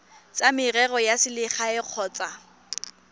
tsa merero ya selegae kgotsa